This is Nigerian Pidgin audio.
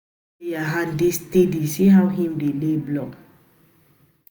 Dis bricklayer hand dey steady, see how im dey lay block.